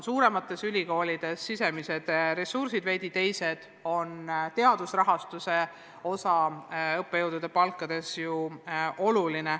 Suuremates ülikoolides on sisemised ressursid veidi teised, oluline on ka teadusrahastuse osa õppejõudude palkades.